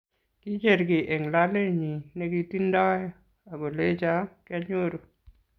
Kicher kiy eng lolenyi nekitindoi akolecho kianyoru